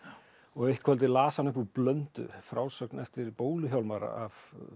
eitt kvöldið las hann upp úr Blöndu frásögn eftir bólu Hjálmar af